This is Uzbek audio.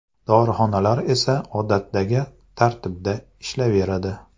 Dorixonalar esa odatdagi tartibda ishlayveradi.